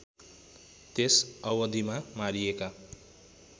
त्यस अवधिमा मारिएका